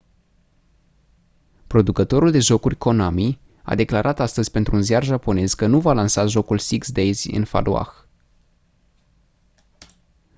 producătorul de jocuri konami a declarat astăzi pentru un ziar japonez că nu va lansa jocul six days in fallujah